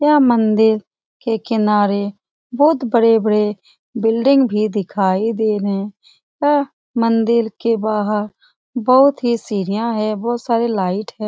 यह मंदिर के किनारे बहुत बड़े बड़े बिल्डिंग भी दिखाई दे रहे है यह मंदिर के बार बहुत ही सीडिया है बहुत सारे लाइट है ।